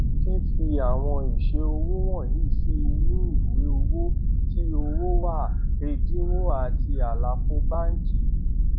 fi fi àwọn ìṣe òwò wọnyí sí inú ìwé owó tí owó wà ẹdínwó àti àlàfo báńkì